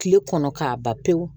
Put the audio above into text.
Kile kɔnɔ k'a ban pewu